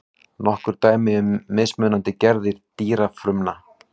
Nokkur dæmi um mismunandi gerðir dýrafrumna.